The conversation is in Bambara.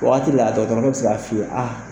Waati la dɔgɔtɔrɔkɛ bɛ se k' a fɔ aa